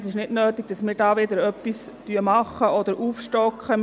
Es ist nicht nötig, dass wir da wieder etwas tun oder aufstocken.